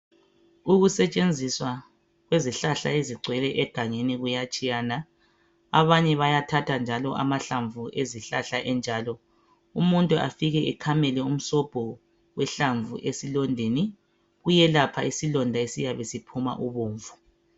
Ukusetshenziswa kwezihlahla ezingcwele egangeni kuyatshiyana, abanye bayathatha njalo amahlamvu ezihlahla enjalo. Umuntu afike akhamele umsombho wehlamvu esilondeni kuyelapha isiloda esiphuma ubomvu